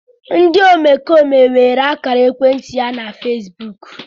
Ndị omekome weere ákàrà ekwentị ya na Fesbụụk.